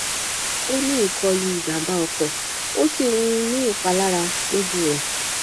o ni ikolu ijamba oko o si um ni ipalara loju rẹ